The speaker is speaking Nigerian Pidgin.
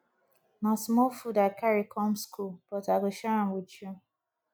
na small food i carry come skool but i go share am wit you